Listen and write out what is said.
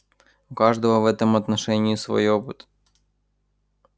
у каждого в этом отношении свой опыт